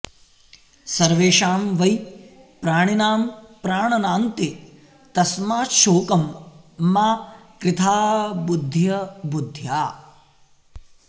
सर्वेषां वै प्राणिनां प्राणनान्ते तस्माच्छोकं मा कृथा बुद्ध्य बुद्ध्या